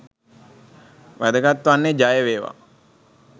වැදගත් වන්නේ ජය වේවා!